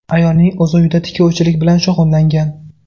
Ayolning o‘zi uyda tikuvchilik bilan shug‘ullangan.